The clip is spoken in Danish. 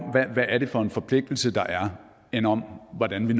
hvad det er for en forpligtelse der er end om hvordan vi